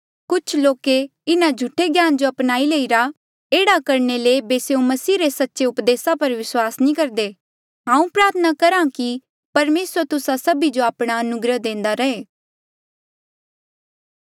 कुछ लोके इन्हा झूठे ज्ञाना जो अपनाई लईरा एह्ड़ा करणे ले ऐबे स्यों मसीह रे सच्चे उपदेसा पर विस्वास नी करदे हांऊँ प्रार्थना करहा कि परमेसर तुस्सा सभी जो आपणा अनुग्रह देंदा रहे